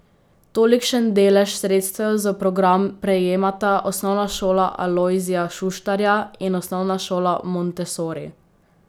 Tolikšen delež sredstev za program prejemata Osnovna šola Alojzija Šuštarja in Osnovna šola montessori.